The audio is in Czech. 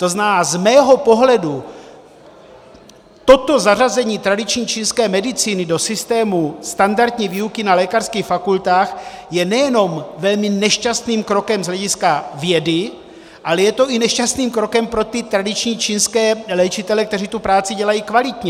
To znamená, z mého pohledu toto zařazení tradiční čínské medicíny do systému standardní výuky na lékařských fakultách je nejenom velmi nešťastným krokem z hlediska vědy, ale je to i nešťastným krokem pro ty tradiční čínské léčitele, kteří tu práci dělají kvalitně.